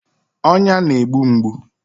Ọnya na-egbu mgbu